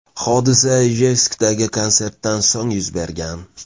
Hodisa Ijevskdagi konsertdan so‘ng yuz bergan.